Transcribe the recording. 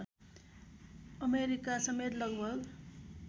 अमेरिकासमेत लगभग